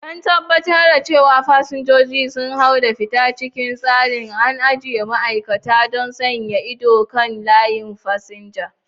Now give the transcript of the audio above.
Don tabbatar da cewa fasinjoji sun hau da fita cikin tsari, an ajiye ma'aikata don sanya ido kan layin fasinja.